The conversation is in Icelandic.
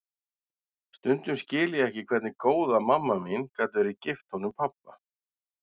Stundum skil ég ekki hvernig góða mamma mín gat verið gift honum pabba.